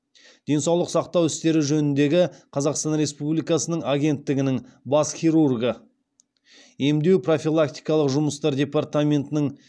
денсаулық сақтау істері жөніндегі қазақстан республикасының агенттігінің бас хирургы емдеу профилактикалық жұмыстар департаментінің